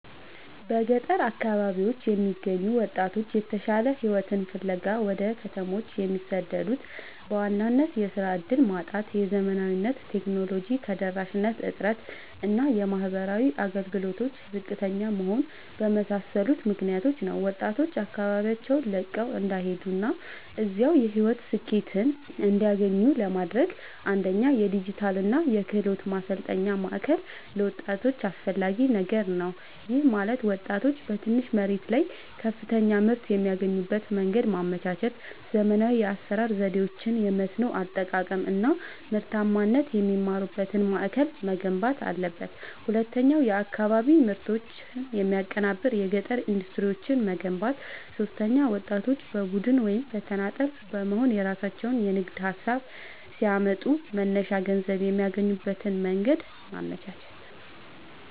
በገጠር አካባቢዎች የሚገኙ ወጣቶች የተሻለ ሕይወትን ፍለጋ ወደ ከተሞች የሚሰደዱት በዋናነት የሥራ ዕድል ማጣት፣ የዘመናዊ ቴክኖሎጂ ተደራሽነት እጥረት እና የማኅበራዊ አገልግሎቶች ዝቅተኛ መሆን በመሳሰሉ ምክኒያቶች ነው። ወጣቶች አካባቢያቸውን ለቀው እንዳይሄዱና እዚያው የሕይወት ስኬትን እንዲያገኙ ለማድረግ፣ አንደኛ የዲጂታልና የክህሎት ማሠልጠኛ ማእከል ለወጣቶች አስፈላጊ ነገር ነው። ይህም ማለት ወጣቶች በትንሽ መሬት ላይ ከፍተኛ ምርት የሚያገኙበትን መንገድ ማመቻቸት፣ ዘመናዊ የአሠራር ዘዴዎችን፣ የመስኖ አጠቃቀም አናምርታማነትን የሚማሩበት ማእከል መገንባት አለበት። ሁለተኛው የአካባቢ ምርቶችን የሚያቀናብር የገጠር ኢንዱስትሪዎችን መገንባት። ሦስተኛው ወጣቶች በቡድን ወይም በተናጠል በመሆንየራሣቸውን የንግድ ሀሳብ ሲያመጡ መነሻ ገንዘብ የሚያገኙበትን መንገድ ማመቻቸት።